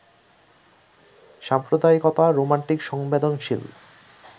সাম্প্রদায়িকতা romantic সংবেদনশীল